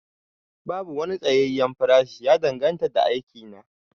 Babu wani tsayayyen farashi, ya danganta da aikin ne